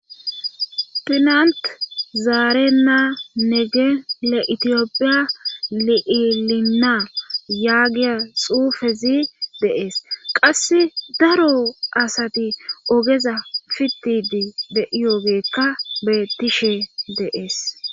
pinant zaare na nege le itiyopiya li7ilinna yaagiya xuufezi deees qass daro asati ogeza fittidi de7iyogeekka bettishe deees